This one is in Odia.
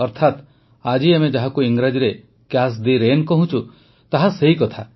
ଅର୍ଥାତ୍ ଆଜି ଆମେ ଯାହାକୁ ଇଂରାଜୀରେ କ୍ୟାଚ୍ ଦି ରେନ୍ କହୁଛୁଁ ତାହା ସେହି କଥା